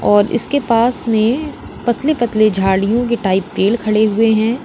और इसके पास में पतली पतली झाड़ियों के टाइप पेड़ खड़े हुए हैं।